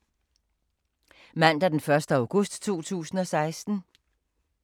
Mandag d. 1. august 2016